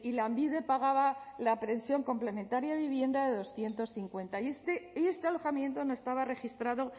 lanbide pagaba la pensión complementaria de vivienda de doscientos cincuenta y este alojamiento no estaba registrado